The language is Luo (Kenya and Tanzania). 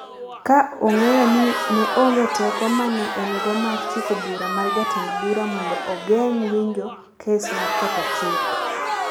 ka ong’eyo ni ne onge teko ma ne en-go mar chiko bura mar jatend bura mondo ogeng’ winjo kes mar ketho chik.